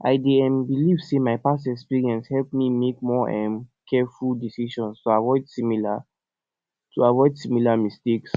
i dey um believe say my past experiences help me make more um careful decisions to avoid similar to avoid similar mistakes